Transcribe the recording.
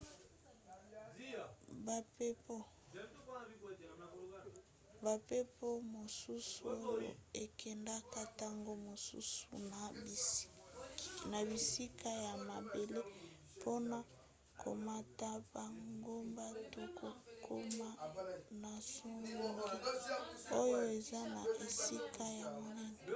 bampepo mosusu oyo ekendaka ntango mosusu na bisika ya mabele mpona komata bangomba to kokoma na songe oyo eza na esika ya monene